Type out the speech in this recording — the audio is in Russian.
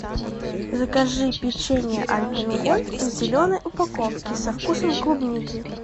закажи печенье альпен гольд в зеленой упаковке со вкусом клубники